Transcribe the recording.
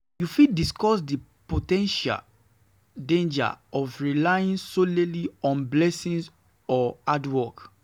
You fit discuss di po ten tial dangers of relying solely on blessings or hard work.